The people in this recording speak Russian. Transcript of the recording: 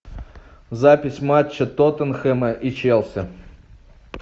запись матча тоттенхэма и челси